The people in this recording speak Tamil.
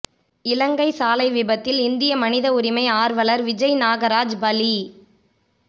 இலங்கை சாலை விபத்தில் இந்திய மனித உரிமை ஆர்வலர் விஜய் நாகராஜ் பலி